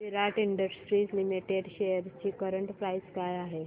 विराट Industries Limited shares ची current price काय आहे